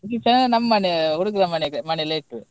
ಇದು reception ನಮ್ಮ್ ಮನೆ ಹುಡುಗನ ಮನೇಲೇ ಇಟ್ವಿ.